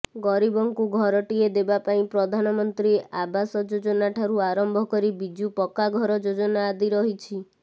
ଗରିବଙ୍କୁ ଘରଟିଏ ଦେବା ପାଇଁ ପ୍ରଧାନମନ୍ତ୍ରୀ ଆବାସ ଯୋଜନାଠାରୁ ଆରମ୍ଭ କରି ବିଜୁ ପକ୍କାଘର ଯୋଜନା ଆଦି ରହିଛି